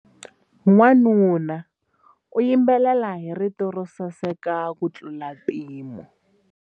Wanuna u yimbelela hi rito ro saseka kutlula mpimo.